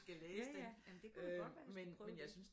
Ja ja jamen det kunne da godt være jeg skulle prøve det